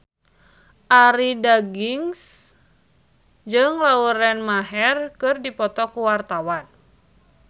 Arie Daginks jeung Lauren Maher keur dipoto ku wartawan